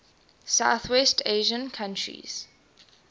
southwest asian countries